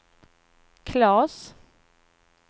Claes